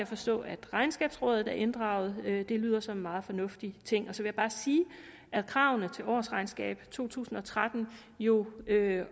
forstå at regnskabsrådet er inddraget det lyder som en meget fornuftig ting og så vil jeg bare sige at kravene til årsregnskabet i to tusind og tretten jo